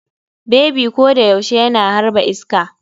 Bebi ko da yaushe yana harba iska.